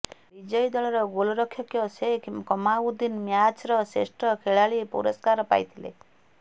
ବିଜୟୀ ଦଳର ଗୋଲ୍ରକ୍ଷକ ସେଖ୍ କମାଉଦ୍ଦିନ୍ ମ୍ୟାଚ୍ର ଶ୍ରେଷ୍ଠ ଖେଳାଳି ପୁରସ୍କାର ପାଇଥିଲେ